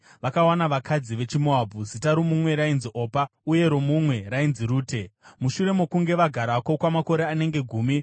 Vakawana vakadzi vechiMoabhu, zita romumwe rainzi Opa uye romumwe rainzi Rute. Mushure mokunge vagarako kwamakore anenge gumi,